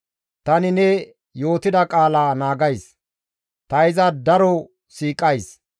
Tani ne yootida qaala naagays; ta iza daro siiqays.